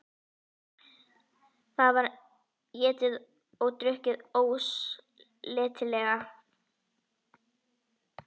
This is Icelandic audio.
Það var étið og drukkið ósleitilega.